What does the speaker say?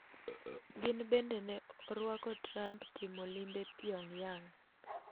Kin bende ne orwako Trump timo limbe Pyongyang.